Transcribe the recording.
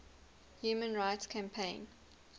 human rights campaign